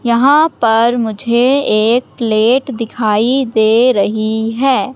यहां पर मुझे एक प्लेट दिखाई दे रहीं हैं।